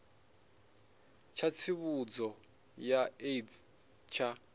tsha tsivhudzo ya aids tsha